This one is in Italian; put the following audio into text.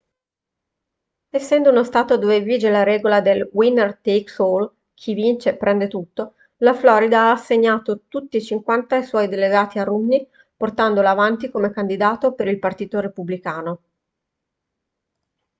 essendo uno stato dove vige la regola del winner takes all chi vince prende tutto la florida ha assegnato tutti e cinquanta i suoi delegati a romney portandolo avanti come candidato per il partito repubblicano